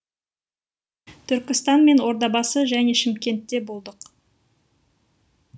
түркістан мен ордабасы және шымкентте болдық